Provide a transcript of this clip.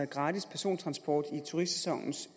gratis persontransport i turistsæsonens